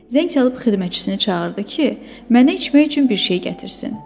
Zəng çalıb xidmətçisini çağırdı ki, mənə içmək üçün bir şey gətirsin.